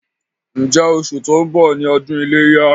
Ǹjẹ́ oṣù tó ń bọ̀ ni ọdún iléyá?